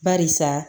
Barisa